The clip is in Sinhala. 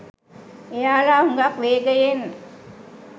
එයාලා හුඟක් වේගයෙන්